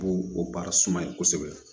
B'o o baara suma ye kosɛbɛ